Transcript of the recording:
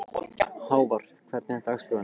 Hávar, hvernig er dagskráin?